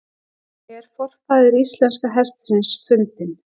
„er forfaðir íslenska hestsins fundinn“